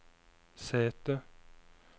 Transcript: sete